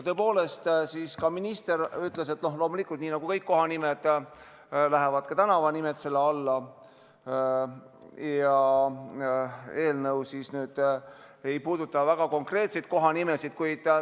Tõepoolest, minister ütles, et loomulikult, nii nagu kõik kohanimed, lähevad ka tänavanimed selle seaduse alla, kuid eelnõu ei puuduta konkreetseid kohanimesid.